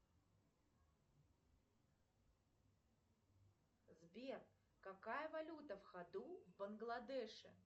сбер какая валюта в ходу в бангладеше